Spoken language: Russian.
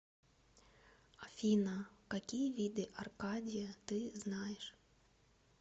афина какие виды аркадия ты знаешь